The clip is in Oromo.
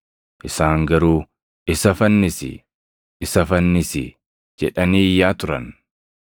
Isaan garuu, “Isa fannisi! Isa fannisi!” jedhanii iyyaa turan.